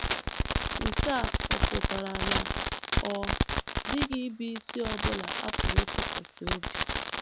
Nke a ọ̀ pụtara na ọ dịghị ịbụisi ọ bụla a pụrụ ịtụkwasị obi?